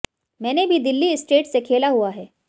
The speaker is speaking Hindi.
मैंने भी दिल्ली स्टेट से खेला हुआ है